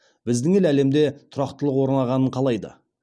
біздің ел әлемде тұрақтылық орнағанын қалайды